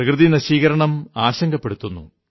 പ്രകൃതിനശീകരണം ആശങ്കപ്പെടുത്തുന്നു